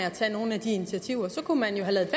at tage nogle af de initiativer så kunne man jo have ladet